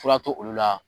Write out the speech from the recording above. Fura to olu la